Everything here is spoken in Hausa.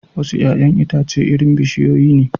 Wasu 'ya'yan itace irin bishiyoyi ne